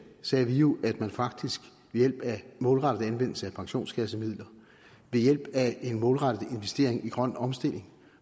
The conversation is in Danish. sagde vi jo at man faktisk ved hjælp af en målrettet anvendelse af pensionskassemidler ved hjælp af en målrettet investering i grøn omstilling